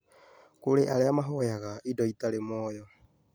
Kũrĩ arĩa mahoyaga indo itarĩ muoyo